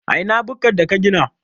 A ina bukkar da ka gina?